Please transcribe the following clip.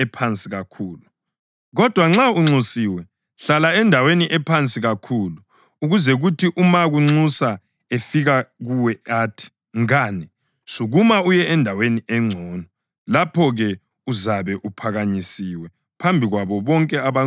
Kodwa nxa unxusiwe, hlala endaweni ephansi kakhulu ukuze kuthi nxa umakunxusa efika kuwe athi, ‘Mngane, sukuma uye endaweni engcono.’ Lapho-ke, uzabe uphakanyisiwe phambi kwabo bonke abanxuswe kanye lawe.